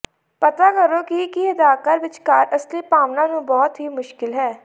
ਪਤਾ ਕਰੋ ਕਿ ਕੀ ਅਦਾਕਾਰ ਵਿਚਕਾਰ ਅਸਲੀ ਭਾਵਨਾ ਨੂੰ ਬਹੁਤ ਹੀ ਮੁਸ਼ਕਲ ਹੈ